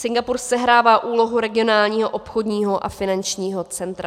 Singapur sehrává úlohu regionálního obchodního a finančního centra.